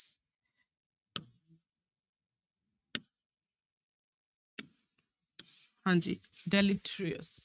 ਹਾਂਜੀ deleterious